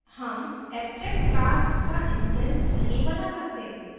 हम abstract class का instance नहीं बना सकते